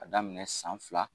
Ka daminɛ san fila